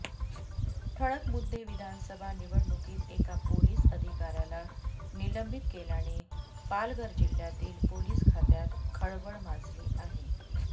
ठळक मुद्देविधानसभा निवडणुकीत एका पोलीस अधिकाऱ्याला निलंबित केल्याने पालघर जिल्ह्यातील पोलीस खात्यात खळबळ माजली आहे